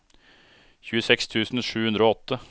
tjueseks tusen sju hundre og åtte